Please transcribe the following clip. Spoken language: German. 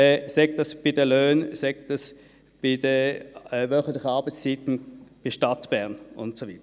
sei es bei den Löhnen, oder sei es bei den wöchentlichen Arbeitszeiten der Stadt Bern und so weiter.